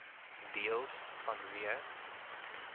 deels vanweë